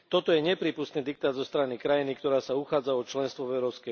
Toto je neprípustný diktát zo strany krajiny, ktorá sa uchádza o členstvo v EÚ.